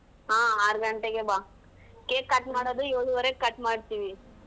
ಹಾ ಆರ್ ಗಂಟೆಗೆ ಬಾ cake cut ಮಾಡುದು ಏಳುವರೆಗೆ cut ಮಾಡ್ತೀವಿ .